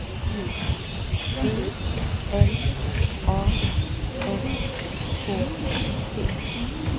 B L A N K T